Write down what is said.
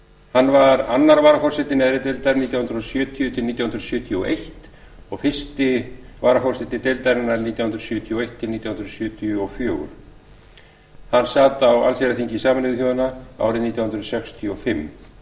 hann var annar varaforseti neðri deildar nítján hundruð sjötíu til nítján hundruð sjötíu og eins og fyrsti varaforseti deildarinnar nítján hundruð sjötíu og eitt til nítján hundruð sjötíu og fjögur hann sat á allsherjarþingi sameinuðu þjóðanna árið nítján hundruð sextíu og fimm